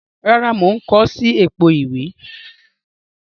Rárá, mo n ko si èpo ìwé